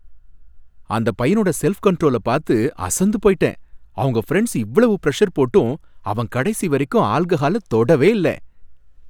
அந்தப் பையனோட செல்ஃப் கண்ட்ரோல்ல பாத்து அசந்து போயிட்டேன். அவங்க ஃபிரெண்ட்ஸ் இவ்வளவு பிரஷர் போட்டும், அவன் கடைசி வரைக்கும் ஆல்கஹால தொடவே இல்ல.